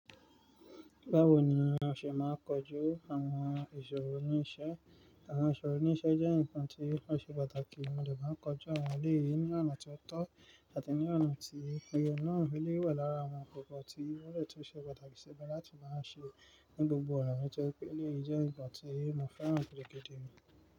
Báwo ni a ṣe máa kojú àwon ìsòro ní isé? Àwon ìsòro ní isé jẹ́ nǹkan tí ó ṣe pàtàkì, mo de maa n kojú àwon èléyìí ní ọ̀nà tió tọ́ àti ní ọ̀nà tí o ye náà. Eléyi wa lára àwon nkankan tí wón de tunse pàtàkì sí i láti máa ṣe ní gbogbo ona, èléyìí jẹ́ nǹkan tí èmo fẹ́ràn gidigidi.